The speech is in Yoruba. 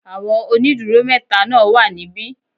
Àwọn ónìdúró métaa náà wà níbí